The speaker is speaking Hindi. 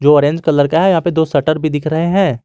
जो ऑरेंज कलर का है यहां पे दो शटर भी दिख रहे हैं।